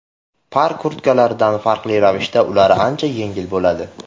Par kurtkalardan farqli ravishda ular ancha yengil bo‘ladi.